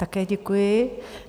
Také děkuji.